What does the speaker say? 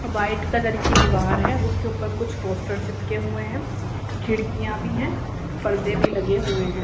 White colour की दीवार है उसके ऊपर कुछ पोस्टर चिपके हुए हैं खिड़कियां भी हैं परदे भी लगे हुए हैं।